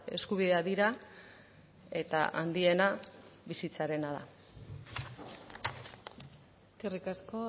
eskubideak dira eta handiena bizitzarena da eskerrik asko